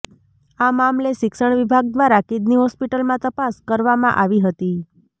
આ મામલે શિક્ષણ વિભાગ દ્વારા કિડની હોસ્પિટલમાં તપાસ કરવામાં આવી હતી